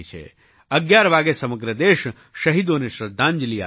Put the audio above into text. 11 વાગે સમગ્ર દેશ શહીદોને શ્રદ્ધાંજલી આપે છે